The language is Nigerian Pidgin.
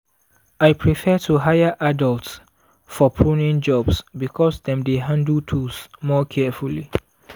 i prefer to hire adults for pruning jobs because dem dey handle tools more carefully.